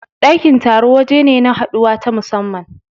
Ɗakin taro waje ne na haduwa ta musamman.